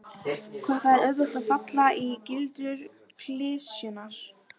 Á fimmtugsafmæli sínu bauð hann til gleði og veitti vel.